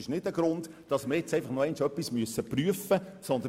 Dies ist kein Grund, jetzt nochmals eine Prüfung zu vorzunehmen.